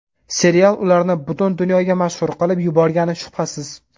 Serial ularni butun dunyoga mashhur qilib yuborgani shubhasiz.